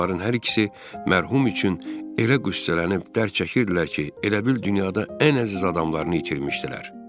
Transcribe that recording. Onların hər ikisi mərhum üçün elə qüssələnib dərd çəkirdilər ki, elə bil dünyada ən əziz adamlarını itirmişdilər.